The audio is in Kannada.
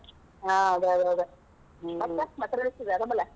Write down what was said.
ಹಾ ಅದೇ ಅದ ಅದ ಮತ್ ಏನ್ ರಾಜೇಶ್ವರಿ ಆರಾಮಲಾ?